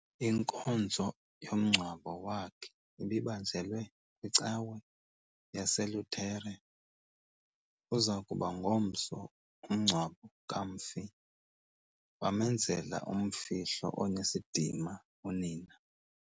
Inkonzo yomngcwabo wakhe ibibanjelwe kwicawa yaseLutere. Uza kuba ngomso umngcwabo kamfi, bamenzela umfihlo onesidima unina.